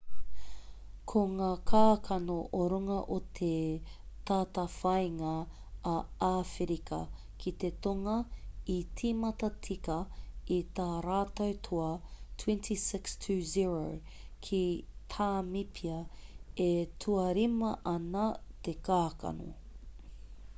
ko ngā kākano o runga o te tātāwhāinga a āwherika ki te tonga i tīmata tika i tā rātou toa 26 - 00 ki tāmipia e tuarima ana te kākano